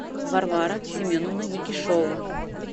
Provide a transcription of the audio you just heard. варвара семеновна никишова